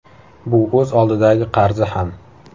Bu o‘z oldidagi qarzi ham.